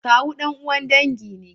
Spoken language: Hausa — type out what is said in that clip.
Kawu dan'uwan dangi ne.